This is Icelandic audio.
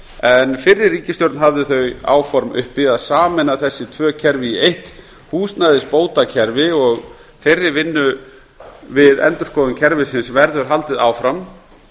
en fyrri ríkisstjórn hafði þau áform uppi að sameina þessi tvö kerfi í eitt húsnæðisbótakerfi þeirri vinnu við endurskoðun kerfisins verður haldið áfram